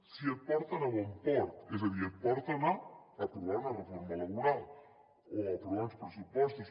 si et porten a bon port és a dir si et porten a aprovar una reforma laboral o a aprovar uns pressupostos